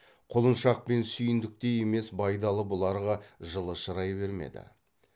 құлыншақ пен сүйіндіктей емес байдалы бұларға жылы шырай бермеді